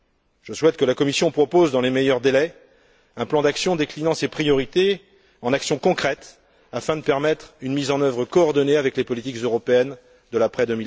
Je souhaite que la Commission propose, dans les meilleurs délais, un plan d'action déclinant ses priorités en actions concrètes afin de permettre une mise en œuvre coordonnée avec les politiques européennes de l'après